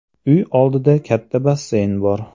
Uy oldida katta basseyn bor.